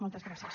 moltes gràcies